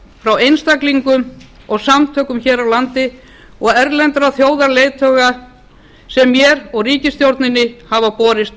frá einstaklingum og samtökum hér á landi og erlendum þjóðarleiðtogum sem mér og ríkisstjórninni hafa borist